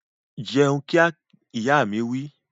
Jẹun kíá! Ìyá mi wí